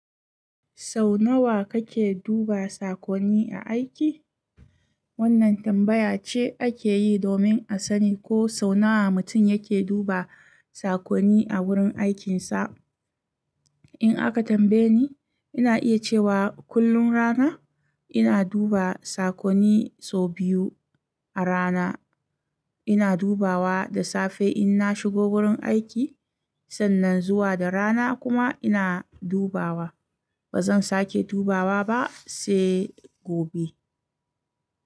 Sau nawa kake duba sakonni a aiki? Wannan tambaya ce ake yi domin a sani ko sau nawa mutum yake duba sakonni a wurin aikinsa. In aka tambaye ni, ina iya cewa kullum rana ina duba sakonni sau biyu a rana. Ina dubawa da safe in na shigo wurin aiki sannan zuwa da rana kuma ina dubawa. Ba zan sake dubawa ba sai gobe.